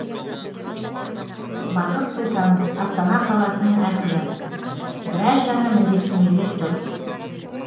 бақыт сұлтанов астана қаласының әкімі біраз жаңа міндеттемелер тұр